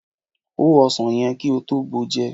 Hó ọsàn yẹn kí ó tó bàjẹ́!